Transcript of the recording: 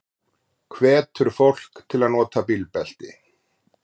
Hvetur fólk til að nota bílbelti